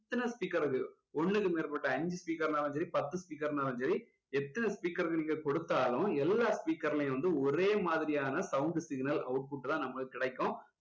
எத்தனை speaker க்கு ஒண்ணுக்கு மேற்பட்ட அஞ்சு speaker னாலும் சரி பத்து speaker னாலும் சரி எத்தனை speaker நீங்க கொடுத்தாலும் எல்லா speaker லயும் வந்து ஒரே மாதிரியான sound signal output தான் நமக்கு கிடைக்கும்